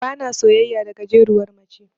Bana soyayya da gajeruwar mace.